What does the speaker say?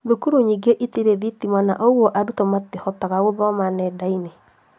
Cukuru ĩngĩ itirĩ thitima na ũguo arutwo matingĩhota gũthoma nenda-inĩ